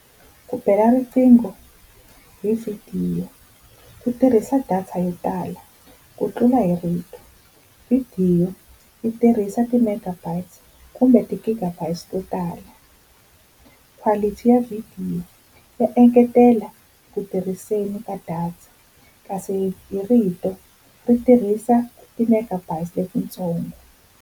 Ku bela riqingho hi vhidiyo ku tirhisa data yo tala ku tlula hi rito. Vhidiyo yi tirhisa ti-megabytes kumbe ti-gigabytes to tala, quality ya vhidiyo ya engetela ku tirhiseni ka data, kasi hi rito ri tirhisa ti-megabytes letitsongo.